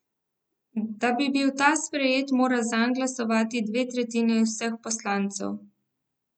Da bi bil ta sprejet, mora zanj glasovati dve tretjini vseh poslancev.